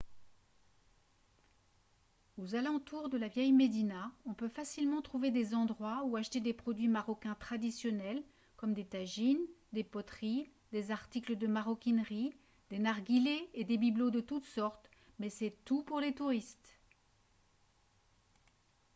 aux alentours de la vieille médina on peut facilement trouver des endroits où acheter des produits marocains traditionnels comme des tajines des poteries des articles de maroquinerie des narguilés et des bibelots de toutes sortes mais c'est tout pour les touristes